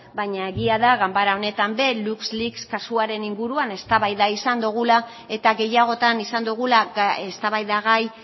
baina egia da ganbara honetan ere luxleaks kasuaren inguruan eztabaida izan dugula eta gehiagotan izan dugula eztabaidagai